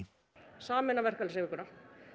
sameina verkalýðshreyfinguna